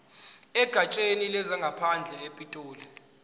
egatsheni lezangaphandle epitoli